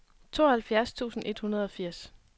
tooghalvfjerds tusind et hundrede og firs